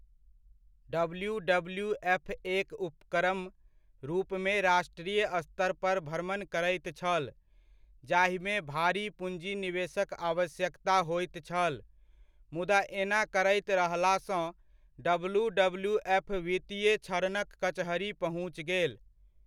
डब्ल्यू.डब्ल्यू.एफ.एक उपक्रम रूपमे राष्ट्रीय स्तर पर भ्रमण करैत छल जाहिमे भारी पूँजी निवेशक आवश्यकता होइत छल, मुदा एना करैत रहलासँ डब्ल्यू.डब्ल्यू.एफ. वित्तीय क्षरणक कचहरि पहुँच गेल।